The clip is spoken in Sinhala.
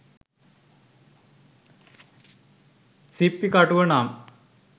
සිප්පි කටුව නම්